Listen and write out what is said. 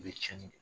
I bɛ tiɲɛni kɛ